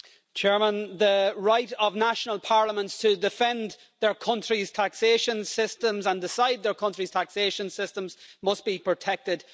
Mr President, the right of national parliaments to defend their country's taxation systems and decide on their country's taxation systems must be protected.